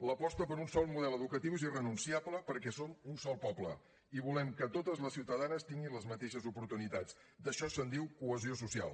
l’aposta per un sol model educatiu és irrenunciable perquè som un sol poble i volem que totes les ciutadanes tinguin les mateixes oportunitats d’això se’n diu cohesió social